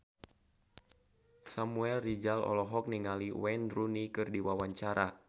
Samuel Rizal olohok ningali Wayne Rooney keur diwawancara